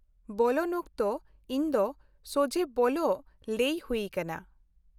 -ᱵᱚᱞᱚᱱ ᱚᱠᱛᱚ ᱤᱧ ᱫᱚ ᱥᱚᱡᱷᱦᱮ ᱵᱚᱞᱚᱜ ᱞᱟᱹᱭ ᱦᱩᱭ ᱟᱠᱟᱱᱟ ᱾